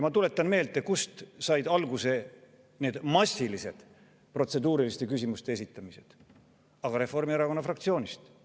Ma tuletan meelde, kust said alguse massilised protseduuriliste küsimuste esitamised: Reformierakonna fraktsioonist.